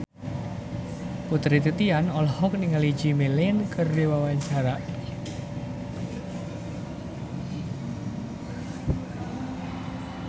Putri Titian olohok ningali Jimmy Lin keur diwawancara